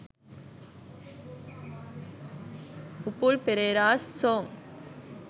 upul pereras songs